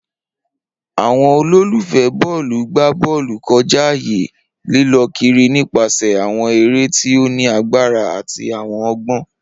Awọn ololufẹ bọọlu gba bọọlu kọja aaye, lilọ kiri nipasẹ awọn ere ti o ni agbara ati awọn ọgbọn.